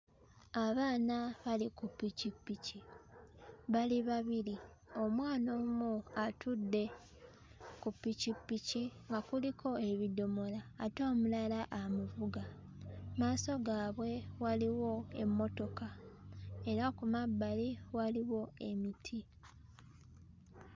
Abaana bali ku ppikippiki bali babiri omwana omu atudde ku ppikippiki nga kuliko ebidomola ate omulala amuvuga mmaaso gaabwe waliwo emmotoka era ku mabbali waliwo emiti.